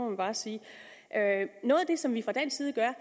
man bare sige noget af det som vi fra dansk side gør